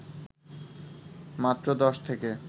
মাত্র দশ থেকে